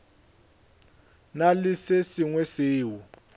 na le se sengwe seo